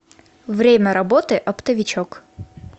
время работы оптовичок